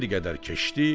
Bir qədər keçdi.